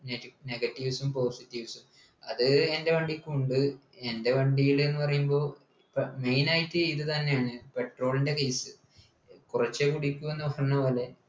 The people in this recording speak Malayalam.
negatives ഉം positives ഉം അത് എൻ്റെ വണ്ടിക്കു ഉണ്ട് എൻ്റെ വണ്ടില് എന്ന് പറയുമ്പോ പ്പോ main ആയിട്ട് ഇത് തന്നെയാണ petrol ൻ്റെ case കുറച്ചേ കുടിക്കു എന്ന് പോലെ